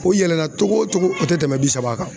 O yɛlɛla cogo o cogo o tɛ tɛmɛ bi saba kan